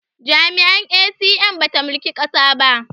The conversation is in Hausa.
Jam'iyyar A.C.N ba ta mulki ƙasa ba